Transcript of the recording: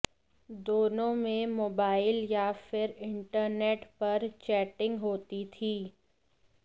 दोनों में मोबाइल या फिर इंटरनेट पर चैटिंग होती थी